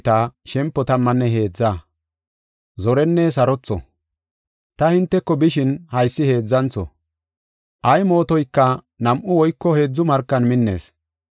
Ta hinteko bishin haysi heedzantho. Ay mootoyka nam7u woyko heedzu markan minnees.